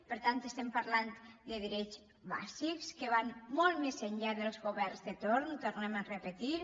per tant estem parlant de drets bàsics que van molt més enllà dels governs de torn ho tornem a repetir